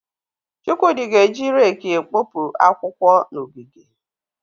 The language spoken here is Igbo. Chukwudi ga-eji rẹeki ekpopụ akwụkwọ n'ogige.